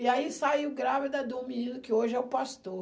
E aí saiu grávida do menino que hoje é o pastor.